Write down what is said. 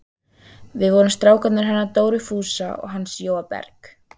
Við vorum strákarnir hennar Dóru Fúsa og hans Jóa Berg.